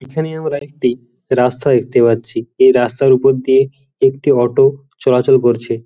এখানে আমরা একটি রাস্তা দেখতে পাচ্ছি এই রাস্তার উপর দিয়ে একটি অটো চলাচল করছে ।